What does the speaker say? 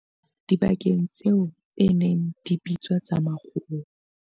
Dibakeng tseo tse neng di bitswa tsa makgowa.